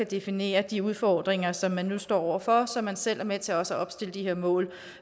definere de udfordringer som man nu står over for så man selv er med til også at opstille de mål